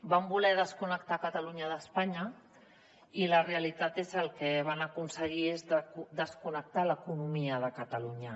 van voler desconnectar catalunya d’espanya i la realitat és que el que van aconseguir és desconnectar l’economia de catalunya